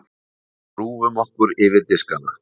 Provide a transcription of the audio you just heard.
Við grúfum okkur yfir diskana.